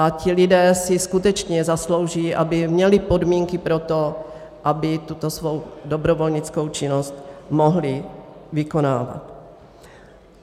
A ti lidé si skutečně zaslouží, aby měli podmínky pro to, aby tuto svou dobrovolnickou činnost mohli vykonávat.